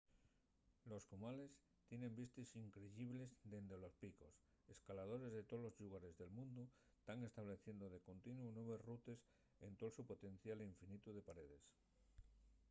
los cumales tienen vistes increyibles dende los picos. escaladores de tolos llugares del mundu tán estableciendo de contino nueves rutes ente’l so potencial infinitu de paredes